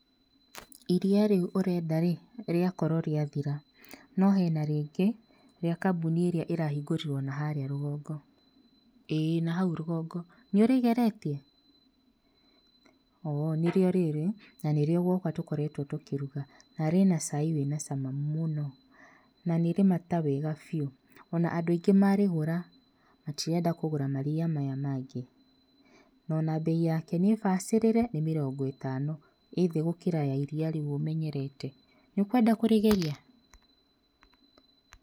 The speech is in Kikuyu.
Iria rĩu ũrenda rĩ, rĩakorwo rĩathira, no hena rĩngĩ, rĩa kambuni ĩria ĩrahingũrirwo naharĩa rũgongo. ĩĩ na hau rũgongo. Nĩũrĩgeretie? Oo, nĩ rĩo rĩrĩ na nĩrĩo gwakwa tũkoretwo tũkĩruga, na rĩ na cai wĩ na cama mũno, na nĩ rĩ mata wega biũ. O na andũ aingĩ marĩgũra, matirenda kũgũra maria maya mangĩ. Na ona bei yake nĩ bacĩrĩre, nĩ mĩrongo ĩtano. ĩ thĩ gũkĩra ya iria rĩu ũmenyerete. Nĩ ũkwenda kũrĩgeria?